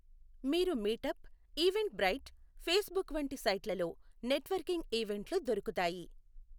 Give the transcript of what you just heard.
మీరు Meetup, Eventbrite, Facebook వంటి సైట్లలో నెట్వర్కింగ్ ఈవెంట్లు దొరుకుతాయి.